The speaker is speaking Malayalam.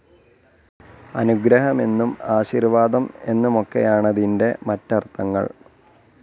അനുഗ്രഹമെന്നും ആശീർവാദം എന്നുമൊക്കെയാണതിന്റെ മറ്റർഥങ്ങൾ.